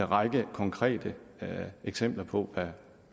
række konkrete eksempler på